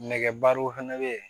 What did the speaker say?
Nɛgɛbarow fɛnɛ be ye